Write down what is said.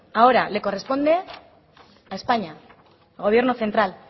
ahora le corresponde a españa al gobierno central